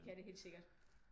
Det kan det helt sikkert